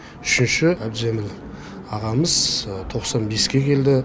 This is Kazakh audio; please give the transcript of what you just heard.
үшінші әбдіжәміл ағамыз тоқсан беске келді